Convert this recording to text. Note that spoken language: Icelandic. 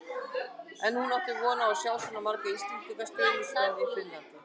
En átti hún von á að sjá svona marga íslenska stuðningsmenn í Finnlandi?